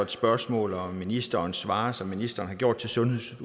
spørgsmål og ministeren svarer som ministeren har gjort til sundheds